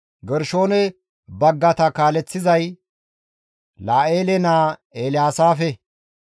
Gershoone baggata kaaleththizay La7eele naa Elyaasaafe.